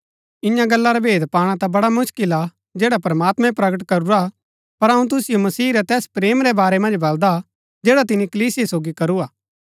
इन्या गल्ला रा भेद पाणा ता बड्‍डा मुसकिल हा जैड़ा प्रमात्मैं प्रकट करूरा पर अऊँ तुसिओ मसीह रै तैस प्रेम रै बारै मन्ज बलदा जैड़ा तिनी कलीसिया सोगी करूआ